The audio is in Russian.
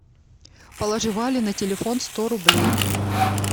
положи вале на телефон сто рублей